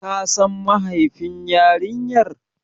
Ka San mahaifin yarinyar?